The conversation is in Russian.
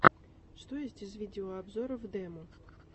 что есть из видеообзоров демо